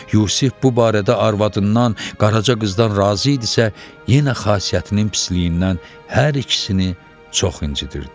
Yusif bu barədə arvadından, Qaraca qızdan razı idisə, yenə xasiyyətinin pisliyindən hər ikisini çox incidirdi.